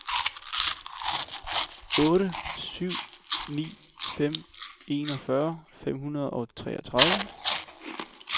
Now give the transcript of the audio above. otte syv ni fem enogfyrre fem hundrede og treogtredive